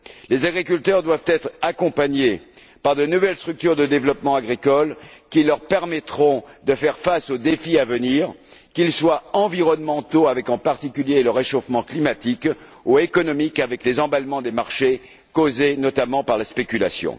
Les agriculteurs doivent être accompagnés par de nouvelles structures de développement agricole, qui leur permettront de faire face aux défis à venir, qu'ils soient environnementaux comme, en particulier, le réchauffement climatique, ou économiques comme les emballements des marchés causés, notamment, par la spéculation.